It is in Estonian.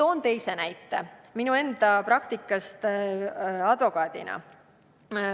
Ma toon teise näite enda praktikast advokaadina.